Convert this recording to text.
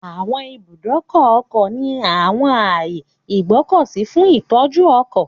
Àwọn ibùdókọ̀ ọkọ̀ ní àwọn ààyè ìgbọ́kọ̀sí fún ìtọ́jú ọkọ̀.